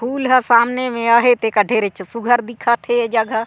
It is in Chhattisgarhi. फूल ह सामने मे अहेत ढेरे सुग्घर दिखत हे ये जगह--